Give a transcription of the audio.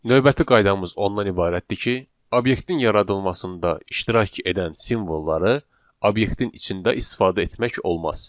Növbəti qaydamız ondan ibarətdir ki, obyektin yaradılmasında iştirak edən simvolları obyektin içində istifadə etmək olmaz.